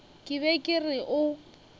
ke be ke re o